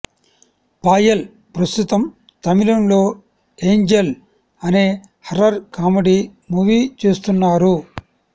పాయల్ ప్రస్తుతం తమిళంలో ఏంజెల్ అనే హారర్ కామెడీ మూవీ చేస్తున్నారు